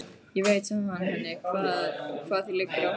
Ég veit, sagði hann henni, hvað þér liggur á hjarta